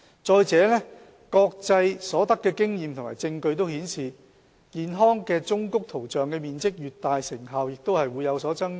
再者，國際所得的經驗和證據均顯示，健康忠告圖像的面積越大，成效也會有所增加。